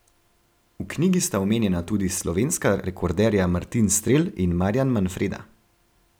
V knjigi sta omenjena tudi slovenska rekorderja Martin Strel in Marjan Manfreda.